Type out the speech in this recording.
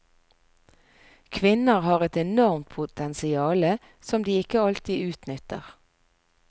Kvinner har et enormt potensiale, som de ikke alltid utnytter.